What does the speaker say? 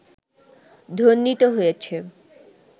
ধ্বনিত হয়েছে